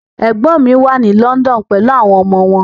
Ẹ̀gbọ́n mi wà ní London pelu àwọn ọmọ wọn.